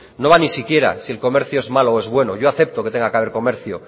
no va ni siquiera si el comercio es malo o bueno yo acepto que tenga que haber comercio